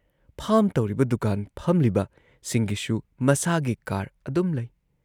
Farm ꯇꯧꯔꯤꯕ, ꯗꯨꯀꯥꯟ ꯐꯝꯂꯤꯕꯁꯤꯡꯒꯤꯁꯨ ꯃꯁꯥꯒꯤ ꯀꯥꯔ ꯑꯗꯨꯝ ꯂꯩ ꯫